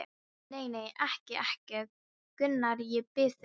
Nei, nei, ekki, ekki, Gunnar, ég bið þig.